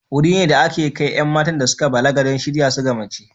Wuri ne da ake kai 'yan matan da suka balaga don shirya su ga mace.